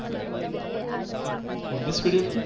english medium છે.